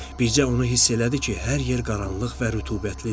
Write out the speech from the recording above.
Bircə onu hiss elədi ki, hər yer qaranlıq və rütubətlidir.